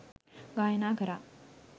ගායනා කරා.